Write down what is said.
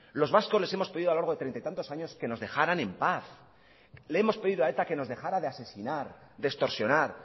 los vascos les hemos pedido a lo largo de treinta y tantos años que nos dejaran en paz le hemos pedido a eta que nos dejara de asesinar de extorsionar